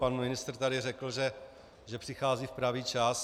Pan ministr tady řekl, že přichází v pravý čas.